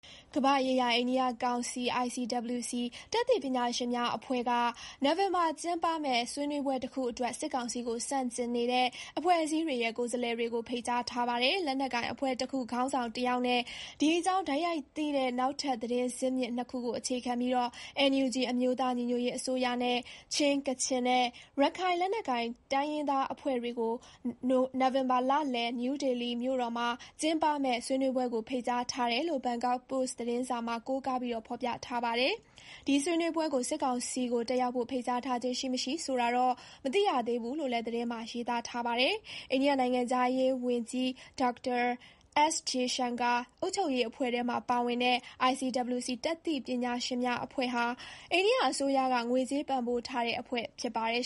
ကမ္ဘာ့ရေးရာ အိန္ဒိယကောင်စီ ICWC တတ်သိပညာရှင်များအဖွဲ့က နိုဝင်ဘာကျင်းပမယ့် ဆွေးနွေးပွဲတခုအတွက် စစ်ကောင်စီကို ဆန့်ကျင်နေတဲ့ အဖွဲ့အစည်းတွေရဲ့ ကိုယ်စားလှယ်တွေကို ဖိတ်ကြားထားပါတယ်။ လက်နက်ကိုင်အဖွဲ့တခုခေါင်းဆောင်တယောက်နဲ့ ဒီအကြောင်း တိုက်ရိုက်သိတဲ့ နောက်ထပ် သတင်းဇစ်မြစ် ၂ ခုကိုအခြေခံပြီး NUG အမျိုးသားညီညွတ်ရေးအစိုးရနဲ့ ချင်း၊ ကချင်နဲ့ ရခိုင်လက်နက်ကိုင် တိုင်းရင်းသားအဖွဲ့တွေကို နိုဝင်ဘာလလယ် New Delhi မြို့တော်မှာ ကျင်းပမယ့် ဆွေးနွေးပွဲကို ဖိတ်ကြားထားတယ်လို့ Bangkok Post သတင်းစာမှာ ကိုးကားဖော်ပြထားပါတယ်။ ဒီဆွေးနွေးပွဲကို စစ်ကောင်စီကို တက်ရောက်ဖို့ ဖိတ်ကြားထားခြင်းရှိ၊ မရှိဆိုတာတော့ မသိရသေးဘူးလို့လည်း သတင်းမှာ ရေးထားပါတယ်။ အိန္ဒိယနိုင်ငံခြားရေးဝန်ကြီး Dr. S. Jaishankar အုပ်ချုပ်ရေးအဖွဲ့ထဲမှာ ပါဝင်တဲ့ ICWC တတ်သိပညာရှင်များအဖွဲ့ဟာ အိန္ဒိယအစိုးရက ငွေကြေးပံ့ပိုးထားတဲ့ အဖွဲ့ဖြစ်ပါတယ်